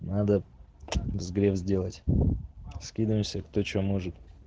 надо взгрев сделать скидываемся кто что может